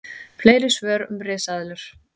Fleiri svör um risaeðlur: